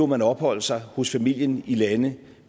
man opholde sig hos familien i lande